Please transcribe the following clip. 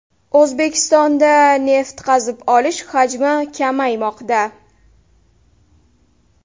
O‘zbekistonda neft qazib olish hajmi kamaymoqda.